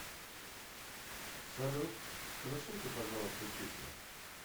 салют сплюсуйте пожалуйста числа